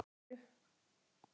Ertu hvar segirðu?